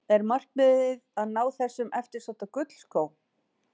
Er markmiðið að ná þessum eftirsótta gullskó?